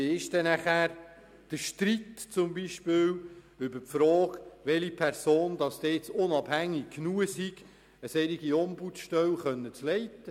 Wie klären Sie die Frage, welche Person unabhängig genug ist, eine solche Ombudsstelle zu leiten?